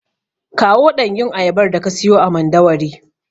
Kawo ɗanyun ayabar daka siyo a Mandawari.